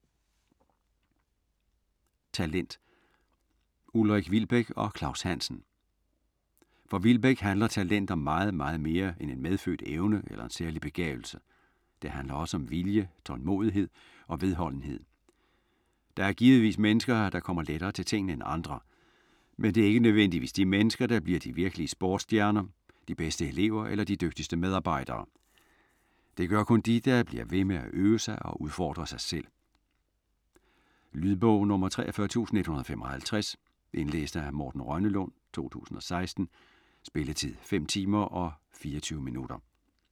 Talent Ulrik Wilbek og Claus Hansen For Wilbek handler talent om meget, meget mere end en medfødt evne eller en særlig begavelse. Det handler også om vilje, tålmodighed og vedholdenhed. Der er givetvis mennesker, der kommer lettere til tingene end andre, men det er ikke nødvendigvis de mennesker, der bliver de virkelige sportstjerner, de bedste elever eller de dygtigste medarbejdere. Det gør kun de, der bliver ved med at øve sig og udfordre sig selv. Lydbog 43155 Indlæst af Morten Rønnelund, 2016. Spilletid: 5 timer, 24 minutter.